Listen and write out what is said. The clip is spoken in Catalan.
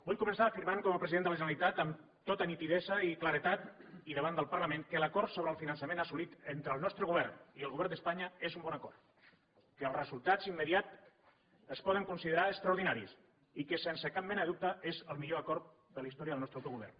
vull començar afirmant com a president de la generalitat amb tota nitidesa i claredat i davant del parlament que l’acord sobre el finançament assolit entre el nostre govern i el govern d’espanya és un bon acord que els resultats immediats es poden considerar extraordinaris i que sense cap mena de dubte és el millor acord de la història del nostre autogovern